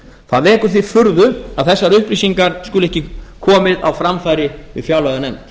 það vekur því furðu að þessar upplýsingar skulu ekki komið á framfæri við fjárlaganefnd